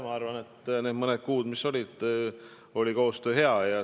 Minu arvates need mõned kuud, mis meil koos töötades möödusid, oli koostöö hea.